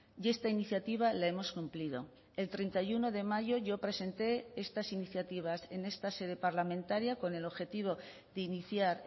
y esta iniciativa la hemos cumplido el treinta y uno de mayo yo presenté estas iniciativas en esta sede parlamentaria con el objetivo de iniciar